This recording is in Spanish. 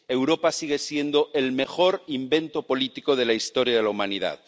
Europa sigue siendo el mejor invento político de la historia de la humanidad.